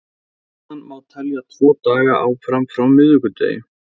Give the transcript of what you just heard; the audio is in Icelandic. Síðan má telja tvo daga áfram frá miðvikudegi.